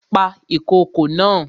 Pa ìkokò naa!